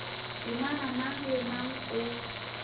temana mang le mang o